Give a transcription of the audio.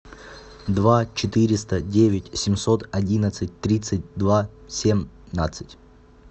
два четыреста девять семьсот одиннадцать тридцать два семнадцать